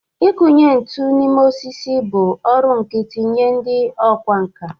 Ịkụnye ntu n'ime osisi bụ ọrụ nkịtị nye ndị ọkwá nkà.